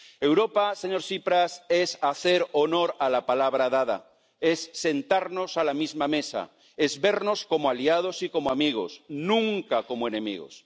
Europa, señor Tsipras, es hacer honor a la palabra dada, es sentarnos a la misma mesa, es vernos como aliados y como amigos, nunca como enemigos.